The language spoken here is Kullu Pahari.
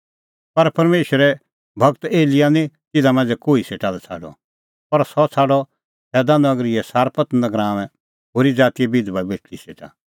पर परमेशरे गूर एलियाह निं तिन्नां मांझ़ै कोही सेटा लै छ़ाडअ पर सह छ़ाडअ सैदा नगरीए सारपत गराऊंए होरी ज़ातीए बिधबा बेटल़ी सेटा